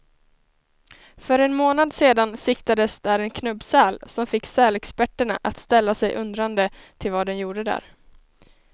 För en månad sedan siktades där en knubbsäl, som fick sälexperterna att ställa sig undrande till vad den gjorde där.